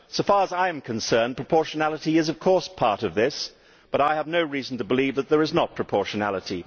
So far as I am concerned, proportionality is of course part of this, but I have no reason to believe that there is not proportionality.